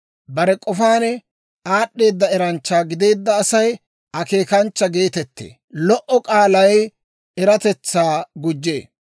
Bare k'ofaan aad'd'eeda eranchcha gideedda Asay akeekanchcha geetettee; lo"o k'aalay eratetsaa gujjee.